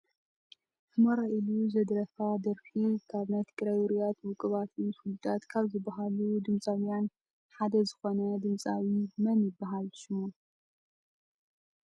ሑመራይ ኢሉ ዘደረፋ ደራፊ ካብ ናይ ትግራይ ውርያት ውቅባት ፍሉጣት ካብ ዝብሃሉ ድምፃውያን ሓደ ዝኮነ ድምፃዊ መን ይብሃል ሽሙ ?